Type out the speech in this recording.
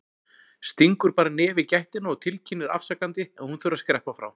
Stingur bara nefi í gættina og tilkynnir afsakandi að hún þurfi að skreppa frá.